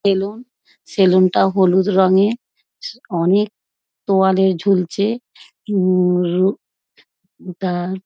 salon salon -টা হলুদ রঙের অনেক তোয়ালে ঝুলছে উম উম ওটা --